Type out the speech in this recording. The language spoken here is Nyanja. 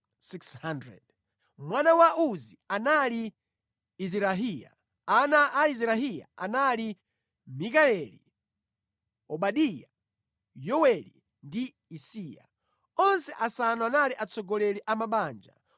Mwana wa Uzi anali Izirahiya. Ana a Izirahiya anali: Mikayeli, Obadiya, Yoweli ndi Isiya. Onse asanu anali atsogoleri a mabanja.